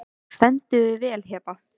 Þú stendur þig vel, Heba!